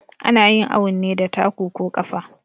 Anayin awun ne da taku ko ƙafa